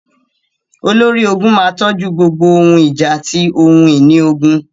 Olórí ogun máa tójú gbogbo ohun ìjà àti ohun ìní ogun.